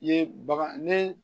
I ye bagan ni